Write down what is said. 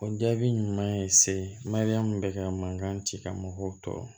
O jaabi ɲuman ye se mariyamu bɛ ka mankan ci kɛ mɔgɔw tɔɔrɔ